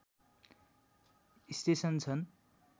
station छन्